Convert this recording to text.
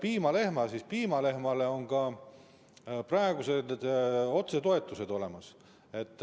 Piimalehmade puhul on ka praegu otsetoetused olemas.